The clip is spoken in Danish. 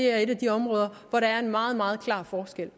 er et af de områder hvor der er en meget meget klar forskel